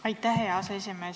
Aitäh, hea aseesimees!